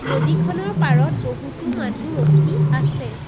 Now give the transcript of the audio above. নদীখনৰ পাৰত বহুতো মানুহ ৰখি আছে।